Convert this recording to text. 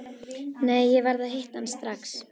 Nei, ég verð að hitta hann strax.